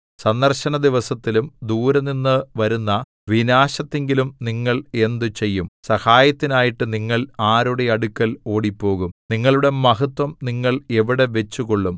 സന്ദർശനദിവസത്തിലും ദൂരത്തുനിന്ന് വരുന്ന വിനാശത്തിങ്കലും നിങ്ങൾ എന്ത് ചെയ്യും സഹായത്തിനായിട്ടു നിങ്ങൾ ആരുടെ അടുക്കൽ ഓടിപ്പോകും നിങ്ങളുടെ മഹത്ത്വം നിങ്ങൾ എവിടെ വച്ചുകൊള്ളും